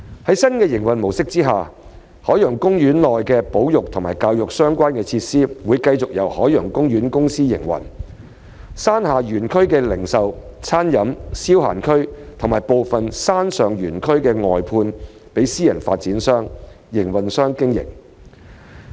在新營運模式下，海洋公園內與保育和教育相關的設施會繼續由海洋公園公司營運，山下園區的零售/餐飲/消閒區及部分山上園區會外判予私人發展商/營運商經營。